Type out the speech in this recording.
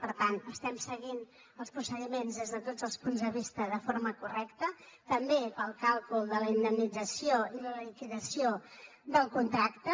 per tant estem seguint els procediments des de tots els punts de vista de forma correcta també per al càlcul de la indemnització i la liquidació del contracte